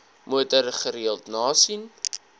motor gereeld nasien